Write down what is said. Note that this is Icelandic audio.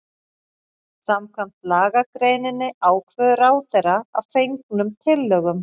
Samkvæmt lagagreininni ákveður ráðherra að fengnum tillögum